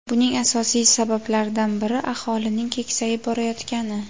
Buning asosiy sabablaridan biri aholining keksayib borayotgani.